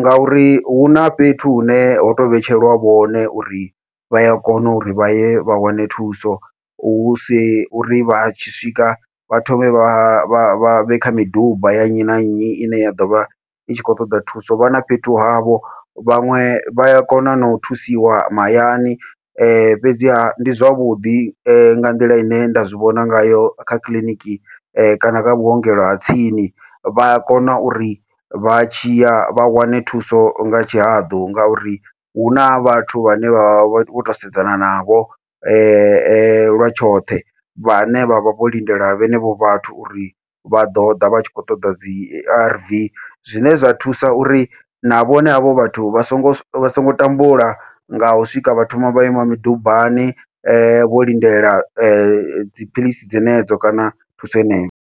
ngauri huna fhethu hune ho to vhetshelwa vhone uri vha ya kona uri vha ye vha wane thuso, husi uri vha tshi swika vha thome vha vha vha vhe kha miduba ya nnyi na nnyi ine ya ḓovha i tshi khou ṱoḓa thuso vha na fhethu havho, vhaṅwe vha ya kona nau thusiwa mahayani fhedziha ndi zwavhuḓi nga nḓila ine nda zwivhona ngayo kha kiḽiniki kana kha vhuongelo ha tsini, vha a kona uri vha tshi ya vha wane thuso nga tshihaḓu. Ngauri huna vhathu vhane vha vha vho to sedzana navho, lwa tshoṱhe vhane vha vha vho lindela vhenevho vhathu uri vha ḓoḓa vhatshi khou ṱoḓa dzi A_R_V, zwine zwa thusa uri na vhone havho vhathu vha songo vha songo tambula ngau swika vha thoma vha ima midubani vho lindela dziphilisi dzenedzo kana thuso heneyo.